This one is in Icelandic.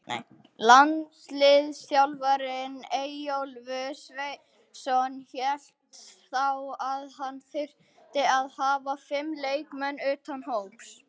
Landsliðsþjálfarinn Eyjólfur Sverrisson hélt þá að hann þyrfti að hafa fimm leikmenn utan hóps.